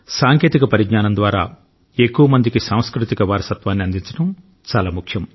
సాంకేతిక పరిజ్ఞానం ద్వారా ఎక్కువ మందికి సాంస్కృతిక వారసత్వాన్ని అందించడం చాలా ముఖ్యం